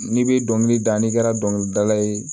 N'i bɛ dɔnkili da n'i kɛra dɔnkilidala ye